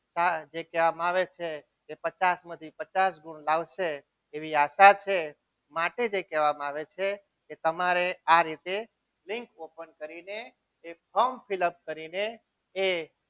જે કહેવામાં આવે છે પચાસ માંથી પચાસ ગુણ લાવશે એવી આશા છે માટે તે કહેવામાં આવે છે કે તમારે આ રીતે લિંક open કરીને એ